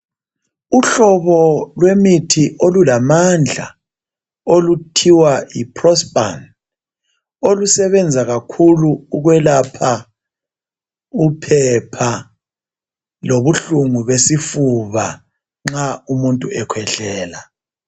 Uhlobo lwemithi olulamandla okuthiwa Yi prospan olusebenza kakhulu ukwelapha uphepha lobuhlungu lwesifuba nxa umuntu ekhwehlela